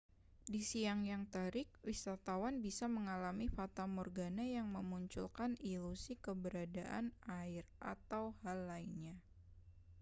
di siang yang terik wisatawan bisa mengalami fatamorgana yang memunculkan ilusi keberadaan air atau hal lainnya